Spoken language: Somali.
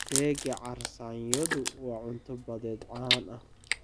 Keega carsaanyodu waa cunto badeed caan ah.